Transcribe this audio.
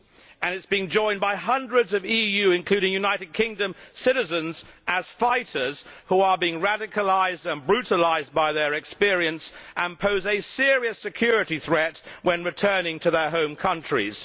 and it is being joined by hundreds of EU, including United Kingdom, citizens as fighters who are being radicalised and brutalised by their experience and pose a serious security threat when returning to their home countries.